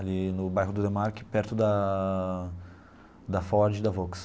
Ali no bairro do Demarchi, perto da da Ford e da Volks.